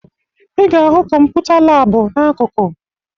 Ị ga-ahụ kọmputa laabụ n'akụkụ